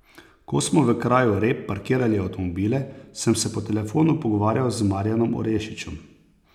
Ko smo v kraju Rep parkirali avtomobile, sem se po telefonu pogovarjal z Marjanom Orešičem.